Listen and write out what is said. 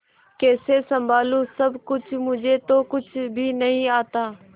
कैसे संभालू सब कुछ मुझे तो कुछ भी नहीं आता